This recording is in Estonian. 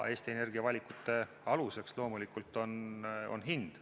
Eesti Energia valikute aluseks on loomulikult hind.